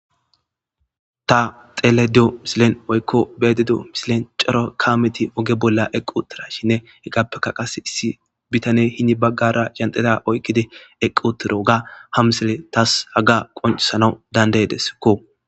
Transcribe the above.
Ta xeledio misilen oykko beededo misilen cara kaameti oge bolla eqqu tirashinne hegappeka qase issi bitane hini baggara yandeda oykkidi eqqutiro ga ha misile taas haga qonisana dandeydeskko.